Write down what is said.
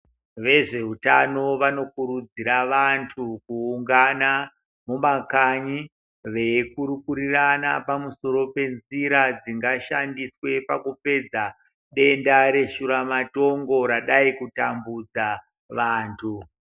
Vezveutano vanokurudzira vantu kuungana mumakanyi veikurukurirana pamusoro penzira dzingashandiswe pakupedza denda reshuramatongo radai kutambudza vantu.